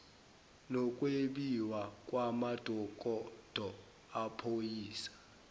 nokwebiwa kwamadokodo amaphoyisa